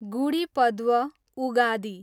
Gudi Padwa, Ugadi